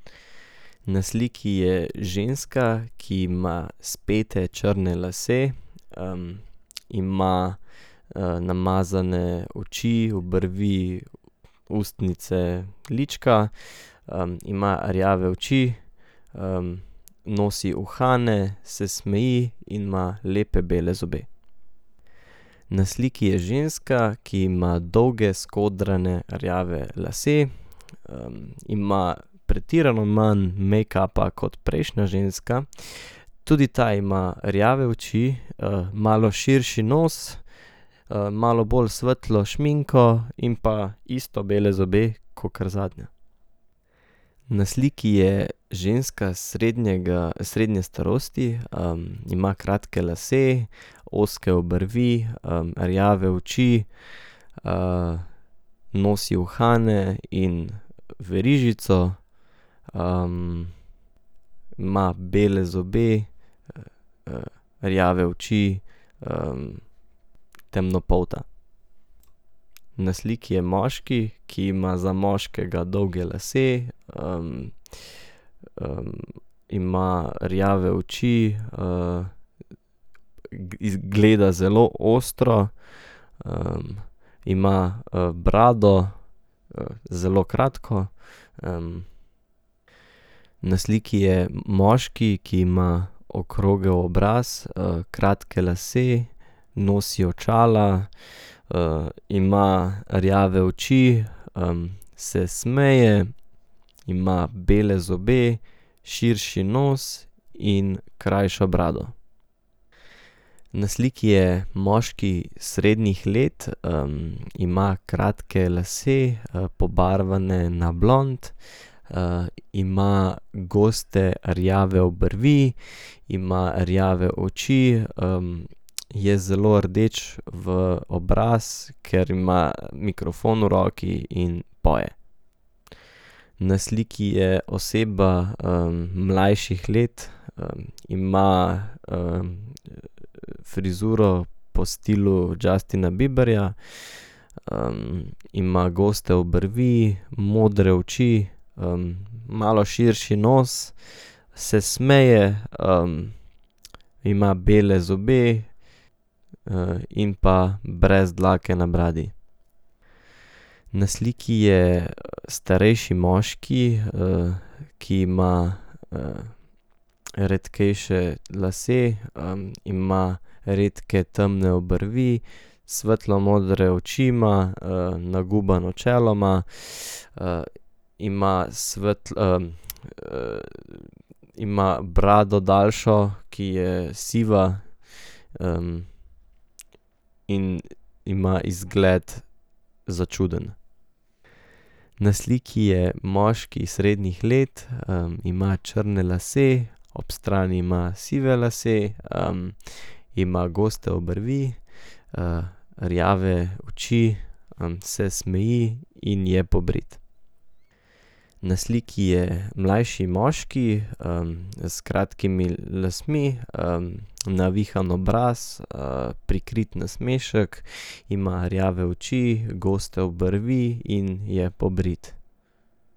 Na sliki je ženska, ki ima spete črne lase, ima, namazane oči, obrvi, ustnice, lička, ima rjave oči, nosi uhane, se smeji in ima lepe bele zobe. Na sliki je ženska, ki ima dolge skodrane rjave lase, ima pretirano manj mejkapa kot prejšnja ženska, tudi ta ima rjave oči, malo širši nos, malo bolj svetlo šminko in pa isto bele zobe kakor zadnja. Na sliki je ženska srednjega, srednje starosti, ima kratke lase, ozke obrvi, rjave oči, nosi uhane in verižico, ima bele zobe, rjave oči, temnopolta. Na sliki je moški, ki ima za moškega dolge lase, ima rjave oči, izgleda zelo ostro, ima, brado, zelo kratko, Na sliki je moški, ki ima okrogel obraz, kratke lase, nosi očala, ima rjave oči, se smeje, ima bele zobe, širši nos in krajšo brado. Na sliki je moški srednjih let, ima kratke lase, pobarvane na blond, ima goste rjave obrvi, ima rjave oči, je zelo rdeč v obraz, ker ima mikrofon v roki in poje. Na sliki je oseba, mlajših let, ima, frizuro po stilu Justina Bieberja, ima goste obrvi, modre oči, malo širši nos, se smeje, ima bele zobe, in pa brez dlake na bradi. Na sliki je starejši moški, ki ima, redkejše lase, ima redke temne obrvi, svetlomodre oči ima, nagubano čelo ima, , ima ima brado daljšo, ki je siva, in ima izgled začuden. Na sliki je moški srednjih let, ima črne lase, ob strani ima sive lase, ima goste obrvi, rjave oči, se smeji in je pobrit. Na sliki je mlajši moški, s kratkimi lasmi, navihan obraz, prikrit nasmešek, ima rjave oči, goste obrvi in je pobrit.